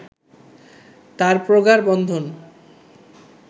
তাঁর প্রগাঢ় বন্ধন